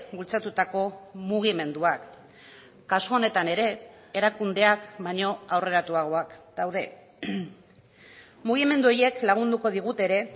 bultzatutako mugimenduak kasu honetan ere erakundeak baino aurreratuagoak daude mugimendu horiek lagunduko digute ere